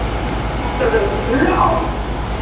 Áttu að vera tvö ár